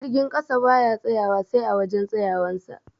Jirgin ƙasa baya tsayawa sai a wajan tsayawan sa